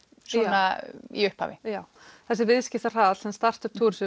svona í upphafi já þessi sem startup